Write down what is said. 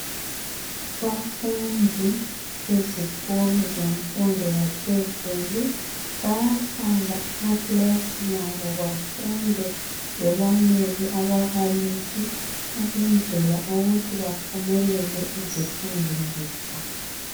Abafundi bezikolo zemfundo yaphezulu bayahlala emakilasini abo bafunde belalele ababalisi ukwenzela ukuthi baphumelele ezifundweni zabo